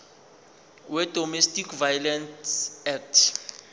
wedomestic violence act